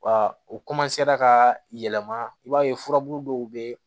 Wa u ka yɛlɛma i b'a ye furabulu dɔw be yen